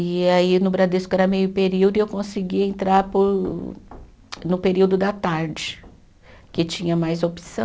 E aí no Bradesco era meio período e eu consegui entrar para o, no período da tarde, que tinha mais opção.